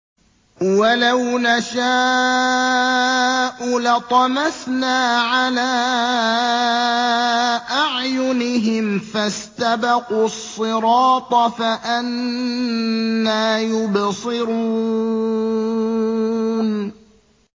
وَلَوْ نَشَاءُ لَطَمَسْنَا عَلَىٰ أَعْيُنِهِمْ فَاسْتَبَقُوا الصِّرَاطَ فَأَنَّىٰ يُبْصِرُونَ